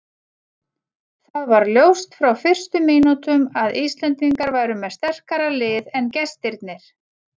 Það var ljóst frá fyrstu mínútum að Íslendingar væru með sterkara lið en gestirnir.